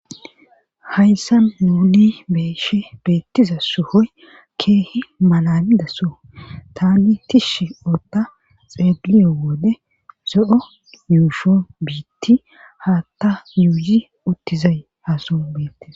hayssa nuuni beeshe beettiza suhoy keehi malalidaso tani tishshi ootta xeelliyo wode zo7o yuusho biitti haatta yuuyi uttizay haason biittes